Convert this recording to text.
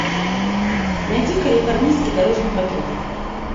найди калифорнийский дорожный патруль